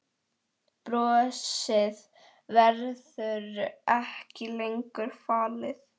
Brosið verður ekki lengur falið.